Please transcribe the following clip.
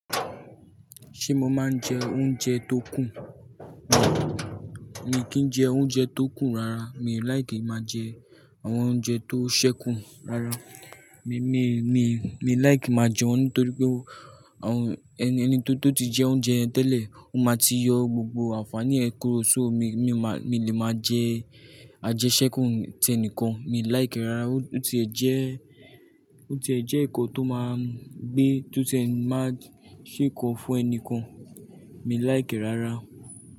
Ṣé mo máa ń jẹ oúnjẹ tó kùn? Mi ò kí ń jẹ oúnjẹ tó kù rara. Mi ò láìkí máa jẹ àwọn oúnjẹ tó sẹ́kùn rara. Mi, mi, mi, mi làìkí máa jẹ wọ́n nítorí pé oh, ẹni tó ti jẹ oúnjẹ yẹn tẹ́lẹ̀, ó máa ti yọ gbogbo àǹfààní ẹ̀ kúrò. So mi, mi ò máa, mi lè máa jẹ àjẹṣẹ́kù tí ẹnìkan. Mi ò láìkí rárá. Ó ti ẹ̀ jẹ́, ó ti ẹ̀ jẹ́ ẹ̀kọ tó máa ń gbé, tó ti ẹ máa ṣèkọ fún ẹni kan. Mi ò láìkí rárá.